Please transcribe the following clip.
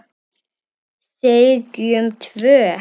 Segjum tvö.